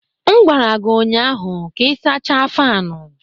M gwara gị ụnyaahụ ka ị sachaa faanu!